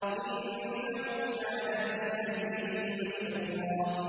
إِنَّهُ كَانَ فِي أَهْلِهِ مَسْرُورًا